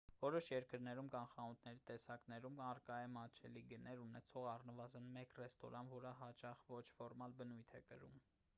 որոշ երկրներում կամ խանութների տեսակներում առկա է մատչելի գներ ունեցող առնվազն մեկ ռեստորան որը հաճախ ոչ ֆորմալ բնույթ է կրում